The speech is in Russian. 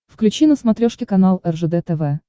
включи на смотрешке канал ржд тв